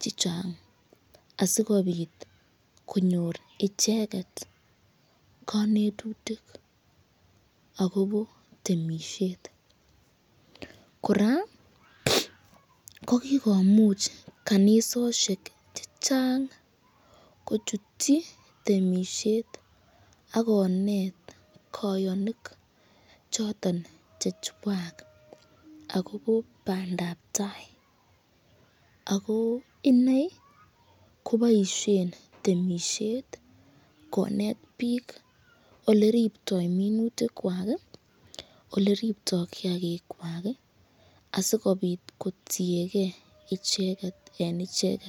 che chang asikobit konyor icheget konetutik agobo temisiet. Kora ko kigomuch kanisosiek che chang kochutchi temisiet ak konet koyonik choton che chwak agobo bandab tai. Ago iney koboisien temisiet konetbiik ole riptoi minutik kwak, ole riptoi kiyagikkwak, asikobit kotienge ichegen en ichegen.